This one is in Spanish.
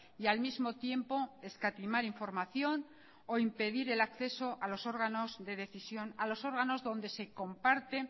y al mismo tiempo escatimar información o impedir el acceso a los órganos de decisión a los órganos donde se comparte